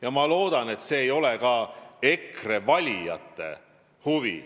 Ja ma loodan, et see ei ole ka EKRE valijate huvi.